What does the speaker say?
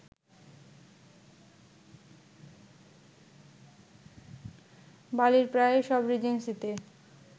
বালির প্রায় সব রিজেন্সিতে